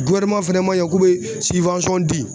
fɛnɛ maɲɛ k'u bɛ di